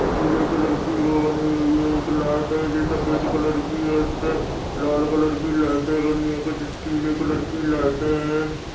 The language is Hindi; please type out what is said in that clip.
पीली कलर की वो बने हुई है एक लाइट है जो सफेद कलर की है उसपे लाल कलर की लाइटे बनी है कुछ पीली कलर की लाइटे हैं।